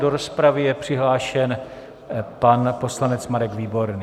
Do rozpravy je přihlášen pan poslanec Marek Výborný.